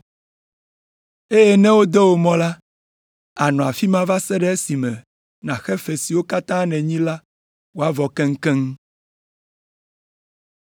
Eye ne wode wò mɔ la, ànɔ afi ma va se ɖe esime nàxe fe siwo katã nènyi la wòavɔ keŋkeŋ.”